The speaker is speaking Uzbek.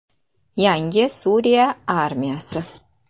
Yangi Suriya armiyasi.